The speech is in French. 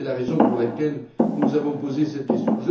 C'est la raison pour laquelle nous avons posé cette question.